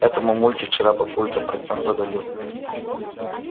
это мамульке вчера папулька партнёр подарил